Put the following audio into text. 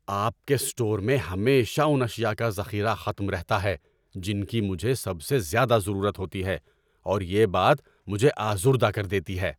آپ کے اسٹور میں ہمیشہ ان اشیاء کا ذخیرہ ختم رہتا ہے جن کی مجھے سب سے زیادہ ضرورت ہوتی ہے اور یہ بات مجھے آزردہ کر دیتی ہے۔